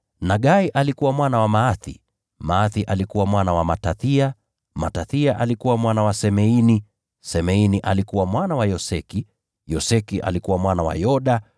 Nagai alikuwa mwana wa Maathi, Maathi alikuwa mwana wa Matathia, Matathia alikuwa mwana wa Semeini, Semeini alikuwa mwana wa Yoseki, Yoseki alikuwa mwana wa Yoda,